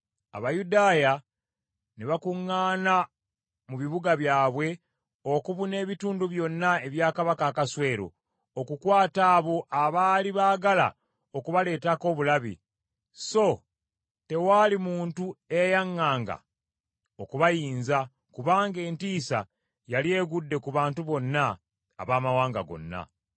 Abayudaaya ne bakuŋŋaana mu bibuga byabwe okubuna ebitundu byonna ebya Kabaka Akaswero, okukwata abo abaali baagala okubaleetako obulabe, so tewaali muntu eyayaŋŋanga okubayinza, kubanga entiisa yali egudde ku bantu bonna abamawanga gonna.